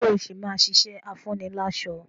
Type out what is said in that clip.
Ṣé o ṣì máa ṣiṣẹ́ afúniláṣọ́?